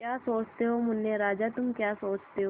क्या सोचते हो मुन्ने राजा तुम क्या सोचते हो